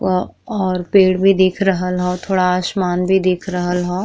वा और पेड़ भी दिख रहल ह थोड़ा आसमान भी दिख रहल ह।